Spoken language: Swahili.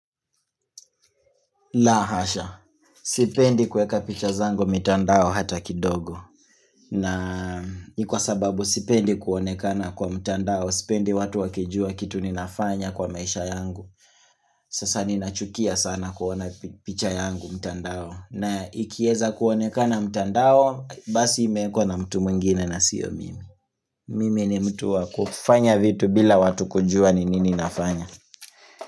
La hasha, sipendi kueka picha zangu mitandao hata kidogo na ni kwa sababu sipendi kuonekana kwa mtandao Sipendi watu wakijua kitu ninafanya kwa maisha yangu Sasa ninachukia sana kuona picha yangu mtandao na ikieza kuonekana mtandao basi imewekwa na mtu mwingine na sio mimi Mimi ni mtu wa kufanya vitu bila watu kujua ni nini nafanya.